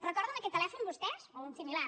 recorden aquest telèfon vostès o un de similar